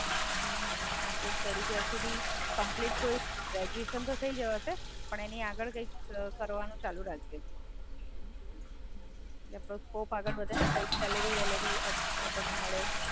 હાં, કારણ કે સ્ટડિ જ્યાર સુધી કંપ્લીટ, કોઈ ગ્રાજયુએશન તો થય જવાશે, પણ એની આગળ કઈક કરવાનું ચાલુ રાખજે. એટલે સ્કોપ આગળ વધે ને, સેલરી-વેલરી મડે.